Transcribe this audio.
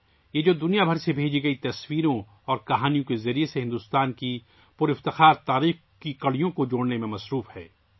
وہ جو دنیا بھر سے بھیجی گئی تصویروں اور کہانیوں کے ذریعے بھارت کی شاندار تاریخ کی کڑیوں کو جوڑنے میں مصروف ہے